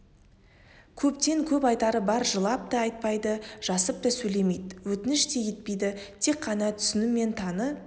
көптен көп айтары бар жылап та айтпайды жасып та сөйлемейді өтініш те етпейді тек қана түсін мені таны